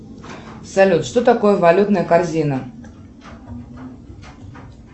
салют что такое валютная корзина